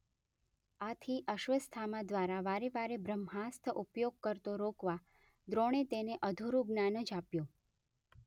આથી અશ્વત્થામા દ્વારા વારે વારે બ્રહ્માસ્ત્ર ઉપયોગ કરતો રોકવા દ્રોણે તેને અધૂરું જ્ઞાન જ આપ્યું.